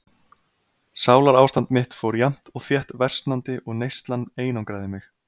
Sálarástand mitt fór jafnt og þétt versnandi og neyslan einangraði mig.